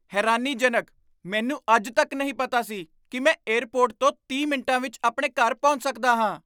ਹੈਰਾਨੀਜਨਕ! ਮੈਨੂੰ ਅੱਜ ਤੱਕ ਨਹੀਂ ਪਤਾ ਸੀ ਕੀ ਮੈਂ ਏਅਰਪੋਰਟ ਤੋਂ ਤੀਹ ਮਿੰਟਾਂ ਵਿੱਚ ਆਪਣੇ ਘਰ ਪਹੁੰਚ ਸਕਦਾ ਹਾਂ